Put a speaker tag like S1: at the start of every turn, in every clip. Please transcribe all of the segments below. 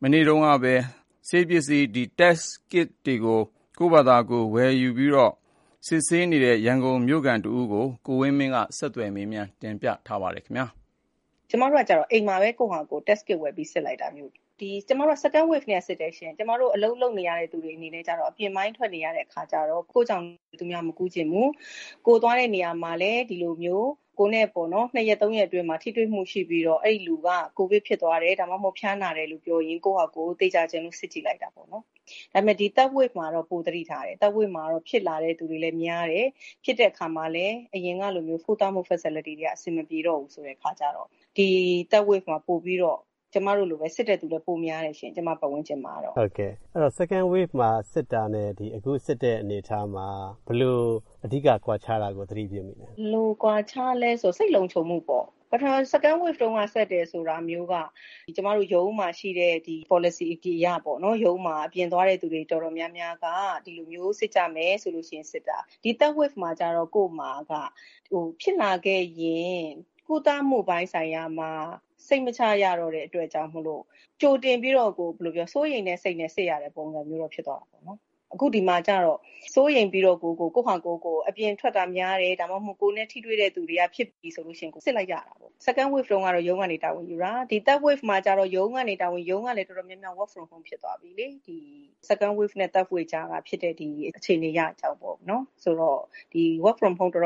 S1: မနေ့တုန်းကပဲ ဆေးစစ်ပစ္စည်း ကို ကိုယ့်ဖာသာ ဝယ်ယူစစ်ဆေးခဲ့တဲ့ ရန်ကုန်မြို့ခံတဦးကို ကိုဝင်းမင်းက ဆက်သွယ် မေးမြန်းရာမှာ အခုလိုစရှင်းပြပါတယ်။
S2: မတို့ကတော့အိမ်မှာပဲ ကိုယ်ဖာသာကိုယ် Test Kit ဝယ်ပြီးစစ်လိုက်တာမျိုး။ ကျမတို့က Second Waveကတည်းကစစ်တယ်ရှင့်။ ကျမတို့အလုပ်လုပ်နေရတဲ့သူတွေအနေနဲ့ကတော့ အပြင်ပိုင်းထွက်နေရတော့ ကိုယ်ကြောင့် သူများမကူးစေချင်ဘူး။ ကိုယ်သွားတဲ့နေရာမှာလည်း ဒီလိုမျိုး ၂ရက် ၃ ရက်အတွင်းမှာ ထိတွေ့မှုရှိပြီး အဲဒီလူက ကိုယ်ဗစ်ဖြစ်သွားတယ်။ ဒါမှမဟုတ် ဖျားနာတယ်လို့ပြောရင် ကိုယ်ဖာသာကိုယ် သေချာချင်လို့စစ်ကြည့်လိုက်တာပေါ့နော်။ ဒါပေမယ့် ဒီ Third Wave မှာတော့ ပိုသတိထားတယ်။Third Wave မှာတော့ ဖြစ်လာတဲ့သူတွေလည်းများတယ်။ ဖြစ်တဲ့အခါမှာလည်း အရင်လိုမျိုး ကုသမှုFacility တွေက အဆင်မပြေတော့ဘူးအခါကြတော့ စစ်တဲ့သူတွေလည်း ကျမပတ်ဝန်းကျင်မှာ ပိုပြီးများလာတယ်ရှင့်။
S1: ဟုတ်ကဲ့။ Second Wave မှာ စစ်တာနဲ့ အခုစစ်တဲ့အနေအထားမှာ ဘယ်လိုအဓိကကွာခြားတာကို သတိပြုမိလဲ။
S2: ဘယ်လိုကွာခြားလဲဆို စိတ်လုံခြုံမှုပေါ့ ။ Second Wave တုံးက ကျမတို့ ရုံးမှာရှိတဲ့ Policy အရ ရုံးမှာ အပြင်သွားတဲ့သူအတော်များများက ဒီလိုမျိုးစစ်ကြမယ်ဆိုပြီးစစ်လိုက်တာပဲ။ ဒီ Third Wave မှာကြတော့ ကိုယ်မှာက ဖြစ်လာခဲ့ရင် ကုသမှုအပိုင်းမှာ စိတ်မချရတဲ့အတွက် ကြိုတင်ပြီးတော့ စိုးရိမ်တဲ့စိတ်နဲ့ စစ်ရတဲ့ပုံစံမျိုးကိုဖြစ်သွားတာပေါ့။ အခုဒီမှာကြတော့ စိုးရိမ်ပြီးတော့ကိုယ်ကို အပြင်ထွက်တာများတယ်။ ဒါမှမဟုတ် ကိုယ်နဲ့ ထိတွေ့တဲ့သူများတယ်ဆိုရင် စစ်လိုက်ကြတာပေါ့။ Second Wave တုံးက ရုံးကနေ တာဝန်ယူတာ ။ ဒီ Third Wave တုံးကတော့ ရုံးကလည်း Work from Home ဖြစ်သွားပြီလေ။ Second Wave နဲ့ Third Wave ကြားထဲက ဖြစ်တာကိုပြောတာပါ။ Work From Home ဖြစ်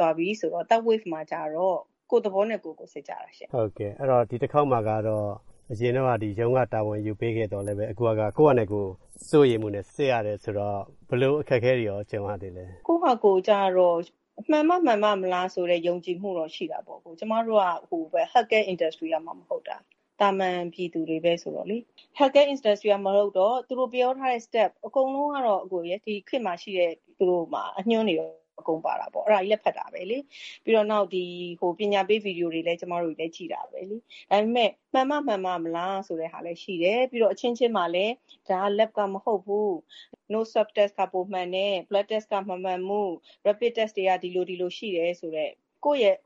S2: သွားပြီဆိုတော့ Third Wave မှာကတော့ကိုယ်သဘောနဲ့ကိုယ်ဖြစ်သွား စစ်ကြတာလေ။
S1: အရင်တုံးက ရုံးကတာဝန်ယူပေးခဲ့သောလည်းပဲ အခုဟာက စိုးရိမ်မှုနဲ့စစ်ရတာဆိုတော့ ဘယ်လိုအခက်ခဲတွေနဲ့ ကြုံရသေးလဲ။
S2: ကိုယ်ဖာသာကိုယ်ကြတော့ မှန်မှမှန်ပမလားဆိုတဲ့ ယုံကြည်မှုတော့ရှိတာပေါ့။ ကျမတို့က Health Care Industery ကမှမဟုတ်တာ။ သာမန်ပြည်သူတွေပဲလေ။ အကုန်လုံးကတော့ ဒီခေတ်မှာရှိတဲ့ အညွှန်းတွေကိုတော့ အကုန်ဖတ်တာပေါ့လေ။ ပြီးတော့ ပညာပေး ဗွီဒီယိုတွေလည်း ကျမတို့ကြည့်တာပဲလေ။ ဒါပေမယ့် မှန်မှ မှန်ပမလားဆိုတာလည်းရှိတယ်။ ပြီးတော့ အချင်းချင်းမှာလည်းပဲ ကိုယ်ရဲ့ Leb က မဟုတ်ဘူး။ Blood Test က မှန်တယ်။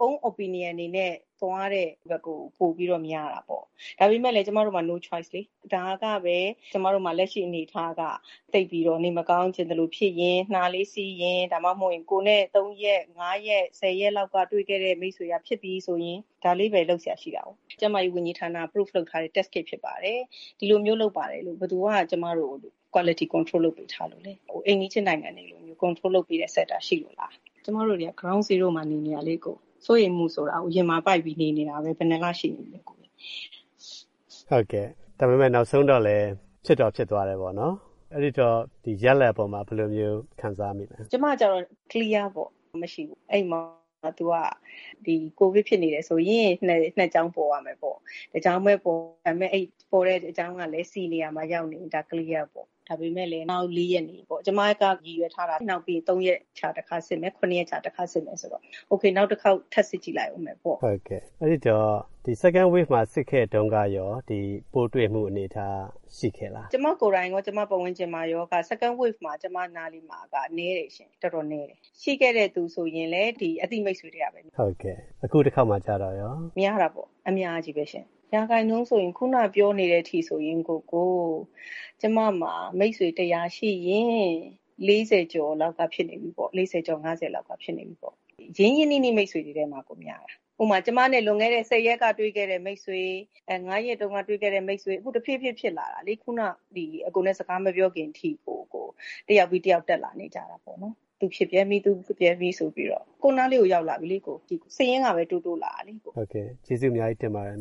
S2: Own Opinion တွေနဲ့ သွားကြတာလေ။ ဒါပေမယ်လည်း ကျမတို့မှာ No Choice လေ။ ဒါကပဲ ကျမတို့မှာ လက်ရှိအနေအထားက သိပ်ပြီးတော့ နှာလေးစီးရင် ၊ ဒါမှမဟုတ် ကိုယ်နဲ့ ၃ ရက် ၅ရက်လောက် တွေ့ခဲ့တဲ့ မိတ်ဆွေက ဖြစ်ပြီဆိုရင် ဒါလေးပဲရှိတာကို။ ကျန်းမာရေးဝန်ကြီးဌာနက Prove လုပ်ထားတဲ့ Test ဖြစ်ပါတယ်လို့ ဘယ်သူက ကျမတို့ကို ဘယ်သူက Quility Control လုပ်ပေးထားလို့ လဲ။ အိမ်နီးချင်းနိုင်ငံတွေကို Quility Control လုပ်ပေးတဲ့ စင်တာရှိလို့လား။ ကျမတို့က Ground Zero မှာနေတာလေ။ စိုးရိမ်မှုဆိုတာ ရင်မှာပိုက်ပြီးနေတာလေ။
S1: နောက်ဆုံးတော့ ဖြစ်တော့ဖြစ်သွားတယ်ပေါ့နော်။ ရလဒ်မှာအပေါ်ဘယ်လို ခံစားရလဲ
S2: ကျမကြတော့ Clear ပေါ့။ မရှိဘူး။ ကိုဗစ်ဖြစ်နေတယ်ဆိုရင် နှစ်ကြောင်းပေါ်ရမယ်ပေါ့။ တကြောင်းတည်ပေါ် ပေါ်တဲ့အကြောင်းကလည်း C နေရာမှာ ရောက်နေရင် Clear ပေါ့။ ဒါပေမယ်လည်း နောက် ၄ ရက်နေရင်ပေါ့။ ၃ ရက်ခြားတခါစစ်မယ်။ နောက် ၇ရက်ခြားတခါစစ်မယ်။ Ok နောက်တခေါက်ထပ်စစ်ကြည့်မယ်ပေါ့။
S1: ဒီ Second Wave မှာ စစ်ခဲ့တုံးကရော ပိုးတွေ့မှုအနေအထားရှိခဲ့လား။
S2: ကျမကိုယ်တိုင်ရော ကျမပတ်ဝန်ကျင်ရော Second Wave တော်တော်ကိုနည်းတယ်ရှင့်။ ရှိခဲ့လိုရှိရင် အသိမိတ်ဆွေထဲကပဲ။
S1: အခုတခေါက်မှာရော
S2: များတာပေါ့။ အခုနပြောနေတဲ့အထိ ကျမမှာ မိတ်ဆွေ ၁၀၀ ရှိရင် ၄ဝ ကျော် ၅ဝ လောက်ဖြစ်နေကြပြီ။ ရင်းရင်းနှီးနှီးတွေထဲကပဲပေါ့။ ဥပမာ ကျမနဲ့ ၁ဝရက်ကတွေ့တဲ့ မိတ်ဆွေ၊ ၅ ရက်တုံးကတွေ့တဲ့မိတ်ဆွေ။ အခု တဖြေးဖြေးဖြစ်လာတာလေ။ အကိုနဲ့ စကားမပြောခင်ထိကို တယောက်ပြီးတယောက်တက်လာနေတာပေါ့နော်။ သူဖြစ်ပြန်ပြန် ငါဖြစ်ပြန်ပြီဆိုပြီး ကိုယ်အနားကို ရောက်လာနေပြီ။ စာရင်းတွေက တိုးတိုးလာပြီ။
S1: ဟုတ်ကဲ့။ ကျေးဇူးအများကြီးတင်ပါတယ်